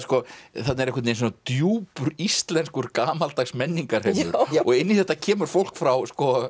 þarna er djúpur íslenskur gamaldags menningarheimur og inn í þetta kemur fólk frá